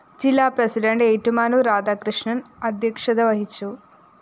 ജില്ലാ പ്രസിഡന്റ് ഏറ്റുമാനൂര്‍ രാധാകൃഷ്ണന്‍ അദ്ധൃക്ഷത വഹിച്ചു